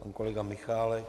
Pan kolega Michálek.